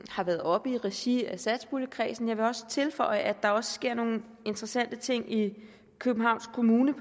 har været oppe i regi af satspuljekredsen jeg vil også tilføje at der også sker nogle interessante ting i københavns kommune